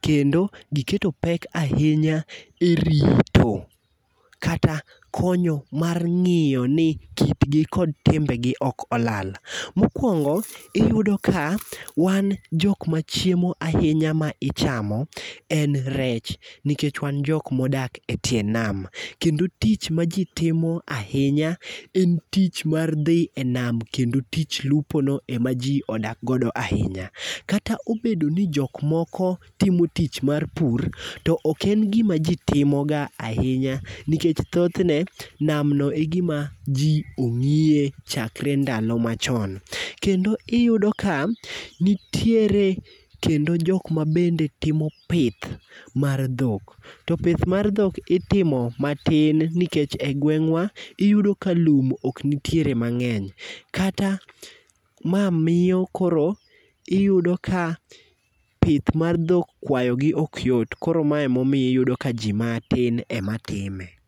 kendo giketo pek ahinya e rito kata konyo mar ng'iyo ni kitgi kod timbegi ok olal. Mokwongo ,iyudo ka wan jok machiemo ahinya ma ichamo en rech nikech wan jok modak e tie nam, kendo tich ma ji timo ahinya en tich mar dhi e nam kendo tij lupono ema ji odak godo ahinya. Kata obedo ni jok moko timo tich mar pur, to ok en gima ji timoga ahinya nikech thothne, namno e gima ji ong'iye chakre ndalo machon. Kendo iyudo ka nitiere kendo jok ma bende timo pith mar dhok, to pith mar dhok itimo matin nikech e gweng'wa ,iyudo ka lum ok nitiere mang'eny, kata ma miyo koro iyudo ka pith mar dhok, kwayogi ok yot . Koro ma emomiyo iyudo ka ji matin ema time.